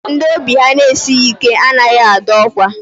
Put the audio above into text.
Ndị obi ha na-esighi ike anaghị adọ ọkwa.